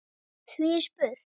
Því er spurt: